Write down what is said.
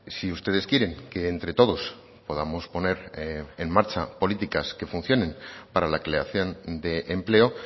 si ustedes quieren que entre todos podamos poner en marcha políticas que funcionen para la creación de empleo